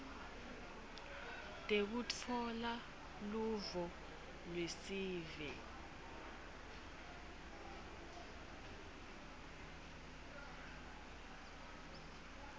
tekutfola luvo lwesive